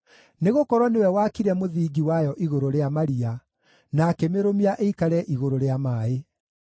nĩgũkorwo nĩwe waakire mũthingi wayo igũrũ rĩa maria, na akĩmĩrũmia ĩikare igũrũ rĩa maaĩ.